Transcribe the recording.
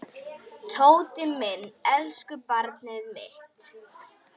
Tóti minn, elsku barnið mitt.